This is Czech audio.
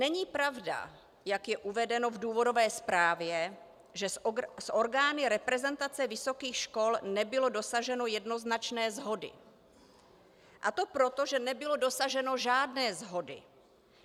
Není pravda, jak je uvedeno v důvodové zprávě, že s orgány reprezentace vysokých škol nebylo dosaženo jednoznačné shody, a to proto, že nebylo dosaženo žádné shody.